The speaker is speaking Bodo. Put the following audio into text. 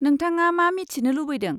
नोंथाङा मा मिथिनो लुबैदों?